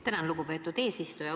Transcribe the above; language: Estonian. Tänan, lugupeetud eesistuja!